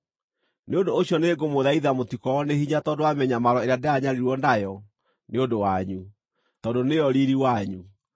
Nĩ ũndũ ũcio nĩngũmũthaitha mũtikoorwo nĩ hinya tondũ wa mĩnyamaro ĩrĩa ndĩranyariirwo nayo nĩ ũndũ wanyu, tondũ nĩyo riiri wanyu.